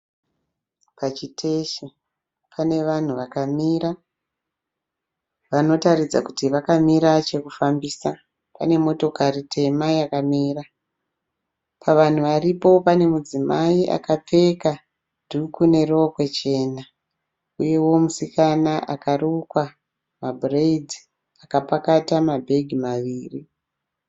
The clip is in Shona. Pachiteshi pane vanhu vakamira vanotaridza kuti vakamirira chekufambisa. Pane motokari tema yakamira. Pavanhu varipo, pane mudzimai akapfeka dhuku nerokwe chena uyewo musikana akarukwa mabhureyidhi akapakata mabhegi maviri.